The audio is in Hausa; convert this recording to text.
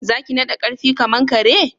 Zaki nada karfi kaman kare?